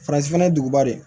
Faransi fɛnɛ ye duguba de ye